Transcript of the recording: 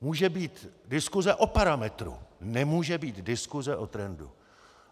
Může být diskuse o parametru, nemůže být diskuse o trendu.